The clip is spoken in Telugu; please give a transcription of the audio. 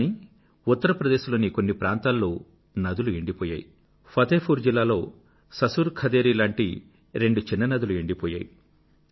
కానీ ఉత్తర్ ప్రదేశ్ లోనూ మరి కొన్ని ప్రాంతాల్లోనూ ఫతేపూర్ జిల్లా లో ససుర్ ఖదేరీ పేరుతో ఉన్న నదీ మొదలైన రెండు చిన్న చిన్న నదులు ఎండిపోయాయి